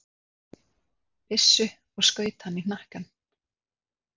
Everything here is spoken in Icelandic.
byssu og skaut hann í hnakkann.